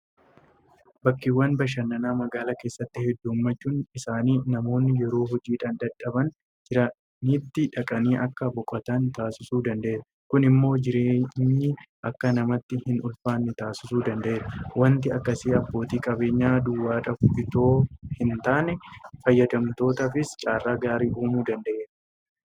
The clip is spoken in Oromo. Bakkeewwan bashannanaa magaalaa keessatti heddummachuun isaanii namoonni yeroo hojiidhaan dadhabanii jiranitti dhaqanii akka boqotan taasisuu danda'eera. Kun immoo jireenyi akka namatti hin ulfaanne taasisuu danda'eera. Waanti akkasii abbootii qabeenyaa duwwaadhaaf itoo hin taane fayyadamtootaafis carraa gaarii uumuu danda'eera.